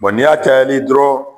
n'i y'a cayali ye dɔrɔn